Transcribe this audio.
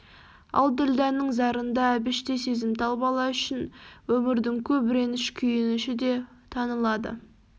ал ділдәнің зарында әбіштей сезімтал бала үшін өмірдің көп реніш күйініші де танылады